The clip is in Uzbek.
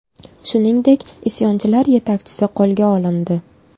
Shuningdek, isyonchilar yetakchisi qo‘lga olindi .